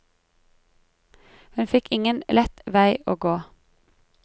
Hun fikk ingen lett vei å gå.